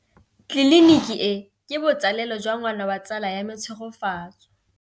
Tleliniki e, ke botsalêlô jwa ngwana wa tsala ya me Tshegofatso.